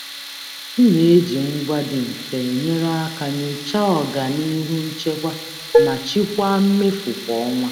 M na-eji ngwa dị mfe enyere aka nyochaa ọganihu nchekwa ma chịkwaa mmefu kwa ọnwa.